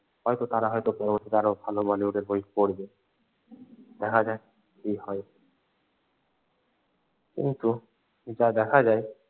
হয়তো তারা হয়তো পরবর্তীতে আরও ভালো ভালো বই করবে। দেখা যাক কি হয় কিন্তু যা দেখা যায়।